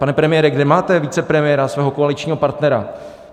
Pane premiére, kde máte vicepremiéra, svého koaličního partnera?